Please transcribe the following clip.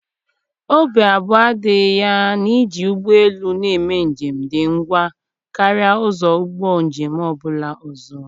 Obi abụọ adịghị ya na iji ụgbọ elu na-eme njem dị ngwa karịa ụzọ ụgbọ njem ọ bụla ọzọ.